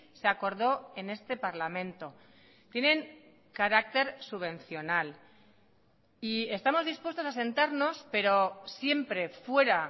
se acordó en este parlamento tienen carácter subvencional y estamos dispuestos a sentarnos pero siempre fuera